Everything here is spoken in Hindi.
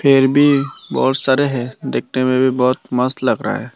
फिर भी बहुत सारे है दिखने में भी बहुत मस्त लग रहा है।